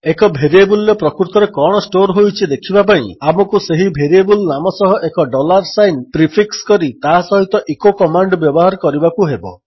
ଏକ ଭେରିଏବଲ୍ରେ ପ୍ରକୃତରେ କଣ ଷ୍ଟୋର୍ ହୋଇଛି ଦେଖିବା ପାଇଁ ଆମକୁ ସେହି ଭେରିଏବଲ୍ ନାମ ସହ ଏକ ଡଲାର୍ ସାଇନ୍ ପ୍ରିଫିକ୍ସ କରି ତା ସହିତ ଇକୋ କମାଣ୍ଡ୍ ବ୍ୟବହାର କରିବାକୁ ହେବ